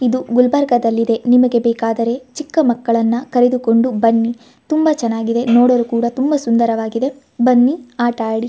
ಇದು ಗುಲ್ಬರ್ಗಾದಲ್ಲಿ ಇದೆ ನಿಮಗೆ ಬೇಕಾದರೆ ಚಿಕ್ಕಮಕ್ಕಳನ್ನಾ ಕರೆದುಕೊಂಡು ಬನ್ನಿ ತುಂಬಾ ಚನ್ನಾಗಿದೆ ನೋಡಲು ಕೂಡ ತುಂಬಾ ಸುಂದರವಾಗಿದೆ ಬನ್ನಿ ಆಟ ಆಡಿ .